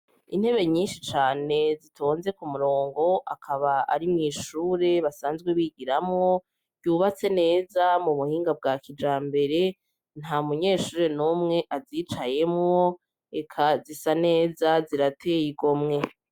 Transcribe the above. Intebe nyinshi cane zitonze ku murongo akaba ari mw'ishure basanzwe bigiramwo ryubatse neza mu muhinga bwa kija mbere nta munyeshure n'umwe azicayemwo eka zisa neza zirateye igo mwe.